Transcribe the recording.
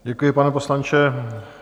Děkuji, pane poslanče.